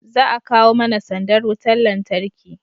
za a kawo mana sandar wutar lantarki